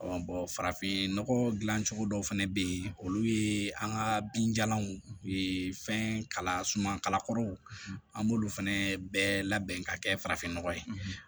farafinnɔgɔ gilan cogo dɔw fɛnɛ bɛ yen olu ye an ka binjalanw ye fɛn kala sumankɔrɔw an b'olu fɛnɛ bɛɛ labɛn ka kɛ farafin nɔgɔ ye